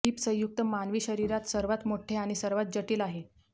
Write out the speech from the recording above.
heap संयुक्त मानवी शरीरात सर्वात मोठे आणि सर्वात जटिल आहे